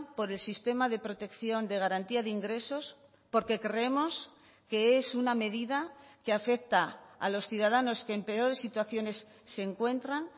por el sistema de protección de garantía de ingresos porque creemos que es una medida que afecta a los ciudadanos que en peores situaciones se encuentran